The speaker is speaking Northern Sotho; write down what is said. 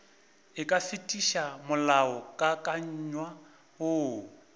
e ka fetiša molaokakanywa woo